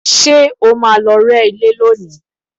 Ṣé o máa lọ rẹ́ ilé lónìí?